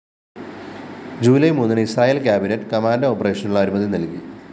July മൂന്നിന് Israel‍ cabinet commando ഓപ്പറേഷനുള്ള അനുമതിനല്‍കി